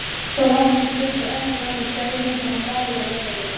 Svo lá hann um stund og ennið nam við strauminn sem var svalur og raunverulegur.